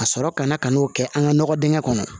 Ka sɔrɔ ka na ka n'o kɛ an ka nɔgɔ dingɛ kɔnɔ